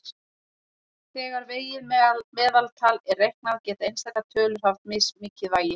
Þegar vegið meðaltal er reiknað geta einstakar tölur haft mismikið vægi.